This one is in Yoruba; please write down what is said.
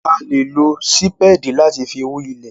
A le lo sipedi lati fi hu ilẹ